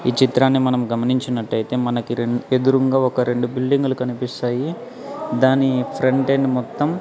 ఈ చిత్రాన్ని మనం గమనించినట్టయితే మనకి రెండ్ ఎదురుంగా ఒక రెండు బిల్డింగులు కనిపిస్తాయి దాని ఫ్రంటెండ్ మొత్తం--